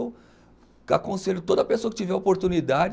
Aconselho toda pessoa que tiver oportunidade.